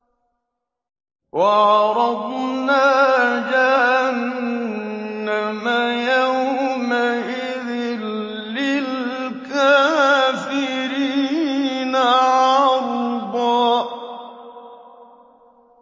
وَعَرَضْنَا جَهَنَّمَ يَوْمَئِذٍ لِّلْكَافِرِينَ عَرْضًا